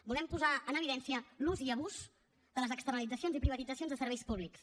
volem posar en evidència l’ús i abús de les externalitzacions i privatitzacions de serveis públics